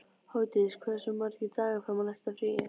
Hofdís, hversu margir dagar fram að næsta fríi?